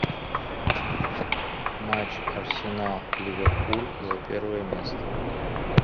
матч арсенал ливерпуль за первое место